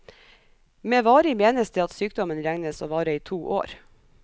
Med varig menes det at sykdommen regnes å vare i to år.